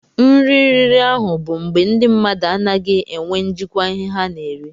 Nri riri ahụ bụ mgbe ndị mmadụ anaghị enwe njikwa ihe ha na-eri.